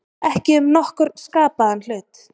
Ekki um nokkurn skapaðan hlut